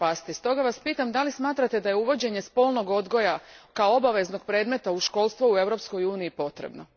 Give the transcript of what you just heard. Stoga Vas pitam da li smatrate da je uvođenje spolnog odgoja kao obaveznog predmeta u školstvu u Europskoj uniji potrebno?